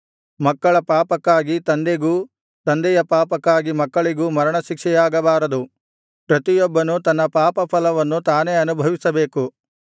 ಮಕ್ಕಳ ಪಾಪಕ್ಕಾಗಿ ತಂದೆಗೂ ತಂದೆಯ ಪಾಪಕ್ಕಾಗಿ ಮಕ್ಕಳಿಗೂ ಮರಣಶಿಕ್ಷೆಯಾಗಬಾರದು ಪ್ರತಿಯೊಬ್ಬನೂ ತನ್ನ ಪಾಪಫಲವನ್ನು ತಾನೇ ಅನುಭವಿಸಬೇಕು